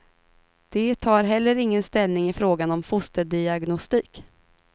De tar heller ingen ställning i frågan om fosterdiagnostik.